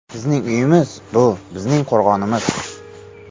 Bizning uyimiz – bu bizning qo‘rg‘onimiz.